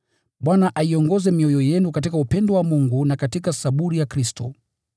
Bwana aiongoze mioyo yenu katika upendo wa Mungu na katika saburi ya Kristo.